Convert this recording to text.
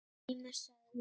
Grímur sagði